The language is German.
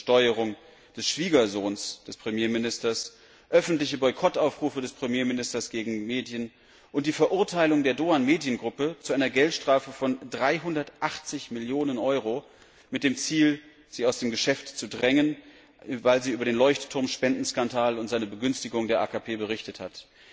unter Steuerung des Schwiegersohns des Premierministers, öffentliche Boykottaufrufe des Premierministers gegen Medien und die Verurteilung der Doğan Mediengruppe zu einer Geldstrafe von 380 Millionen Euro mit dem Ziel, sie aus dem Geschäft zu drängen, weil sie über den Leuchtturmspendenskandal und seine Begünstigung der AKP berichtet hat.